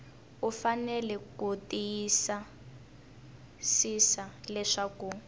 u fanele ku tiyisisa leswaku